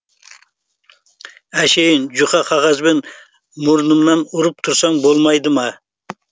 әшейін жұқа қағазбен мұрнымнан ұрып тұрсаң болмайды ма